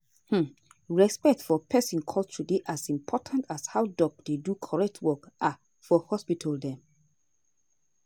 hmmm respect for peson culture dey as important as how doc dey do correct work ah for hospital dem.